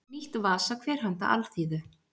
Nýtt vasakver handa alþýðu.